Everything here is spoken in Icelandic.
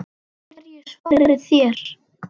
Hverju svarið þér?